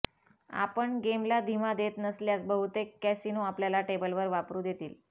आपण गेमला धीमा देत नसल्यास बहुतेक कॅसिनो आपल्याला टेबलवर वापरू देतील